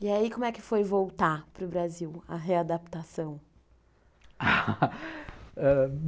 E aí, como é que foi voltar para o Brasil, a readaptação? ãh...